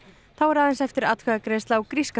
þá er aðeins eftir atkvæðagreiðsla á gríska